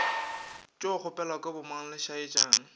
tšo kgopelelwa ke bomang lešaetšana